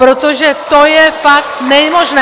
Protože to je fakt nemožné!